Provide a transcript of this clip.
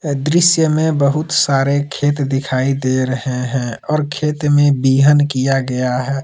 दृश्य में बहुत सारे खेत दिखाई दे रहे हैं और खेत में बिहन किया गया है।